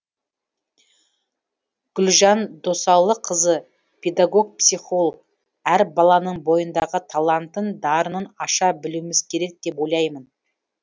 гүлжан досалықызы педагог психолог әр баланың бойындағы талантын дарынын аша білуміз керек деп ойлаймын